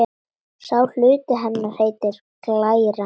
Sá hluti hennar heitir glæra.